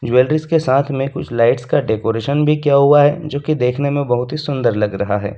Jewelleries के साथ में कुछ लाइट्स का डेकोरेशन भी किया हुआ है जो कि देखने में बहुत ही सुंदर लग रहा है।